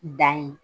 Dan ye